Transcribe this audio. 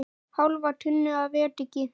Hálfa tunnu af ediki.